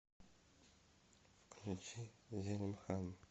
включи зелимхан